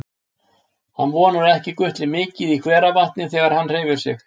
Hann vonar að ekki gutli mikið í hveravatni þegar hann hreyfir sig.